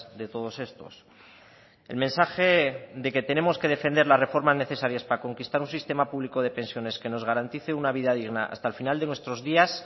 de todos estos el mensaje de que tenemos que defender la reforma necesarias para conquistar un sistema público de pensiones que nos garantice una vida digna hasta el final de nuestros días